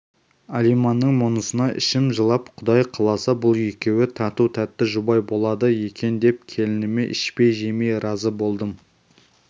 алиманның мұнысына ішім жылып құдай қаласа бұл екеуі тату-тәтті жұбай болады екен деп келініме ішпей-жемей разы болдым